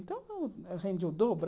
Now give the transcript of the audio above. Então, rendia o dobro.